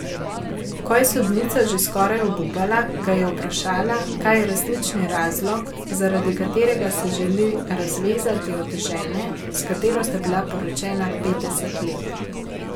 Ko je sodnica že skoraj obupala, ga je vprašala, kaj je resnični razlog, zaradi katerega se želi razvezati od žene, s katero sta bila poročena petdeset let.